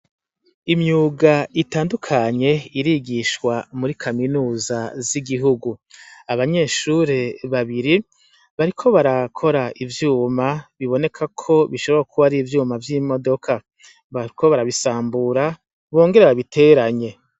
Imyuga itandukanye irigishwa muri kaminuza z'igihugu abanyeshure babiri bariko barakora ivyuma biboneka ko bishobora kuba ari ivyuma vy'imodoka bariko barabisambura bongera babiteranye.